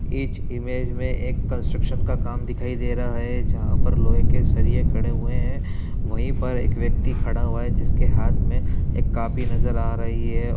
इस इमेज में एक कंस्ट्रक्शन का काम दिखाई दे रहा है जहां पर लोहे के सरिये खड़े हुए हैं। वहीं पर एक व्यक्ति खड़ा हुआ है जिसके हाथ में एक कॉपी नजर आ रही है।